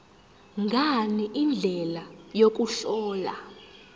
ngani indlela yokuhlola